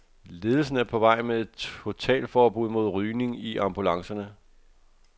Ledelsen er på vej med et totalforbud mod rygning i ambulancerne.